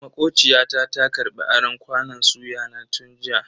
Makociya ta ta karbi aron kwanon suya na tun jiya.